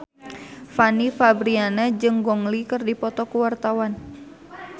Fanny Fabriana jeung Gong Li keur dipoto ku wartawan